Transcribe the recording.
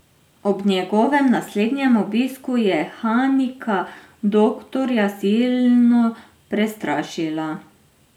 Ob njegovem naslednjem obisku je Hanika doktorja silno prestrašila.